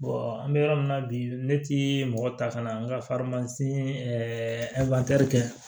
an bɛ yɔrɔ min na bi ne ti mɔgɔ ta ka na an ka kɛ